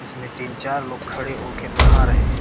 इसमें तीन-चार लोग खड़े हो कर नहा रहे हैं।